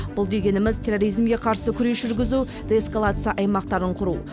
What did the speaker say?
бұл дегеніміз терроризмге қарсы күрес жүргізу деэскалация аймақтарын құру